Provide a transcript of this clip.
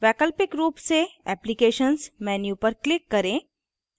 वैकल्पिक रूप से applications menu पर click करें